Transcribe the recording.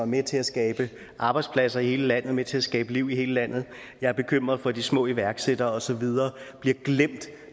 med til at skabe arbejdspladser i hele landet med til at skabe liv i hele landet jeg er bekymret for at de små iværksættere og så videre bliver glemt